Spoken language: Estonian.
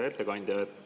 Hea ettekandja!